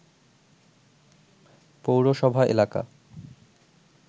পৌরসভা এলাকা